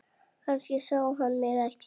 Kannski sá hann mig ekki.